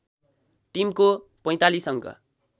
टिमको ४५ अङ्क